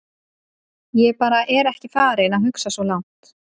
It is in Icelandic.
Ég bara er ekki farinn að hugsa svo langt.